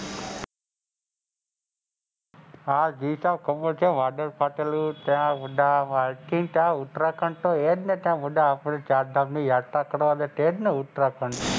હા જી સાહબ ખબર છે વાદળ ફાટેલું ત્યાં ઉત્તરાખંડ તો હેજને અને આપડે ચારધામ ની યાત્રા કરવા ત્યાંજ ને ઉત્તરાખંડ,